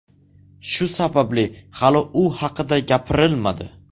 Shu sababli hali u haqida gapirilmadi.